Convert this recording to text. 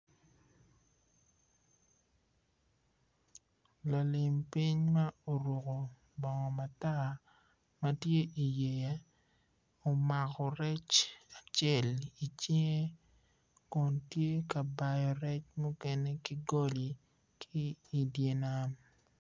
Lalim ping ma oruko bongo mata matye iyea omako rec acel icinge kun tye ka bao rec mukene kigoli ki idyer nam.